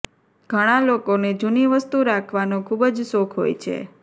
ઘણા લોકો ને જૂની વસ્તુ રાખવાનો ખુબ જ શોખ હોય છે